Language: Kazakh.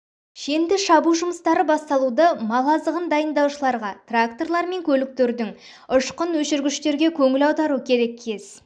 пішенді шабу жұмыстары басталуды мал азығын дайындаушыларға тракторлар мен көліктердің ұшқын өшіргіштерге көңіл аудару керек кез